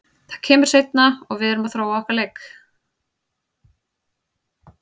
Það kemur seinna og við erum að þróa okkar leik.